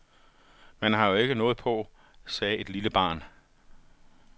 Men han har jo ikke noget på, sagde et lille barn.